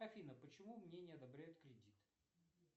афина почему мне не одобряют кредит